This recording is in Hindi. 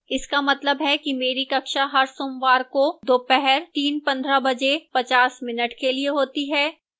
इसका मतलब है कि मेरी कक्षा हर सोमवार को दोपहर 3:15pm बजे 50 mins के लिए होती है